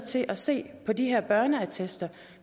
til at se på de her børneattester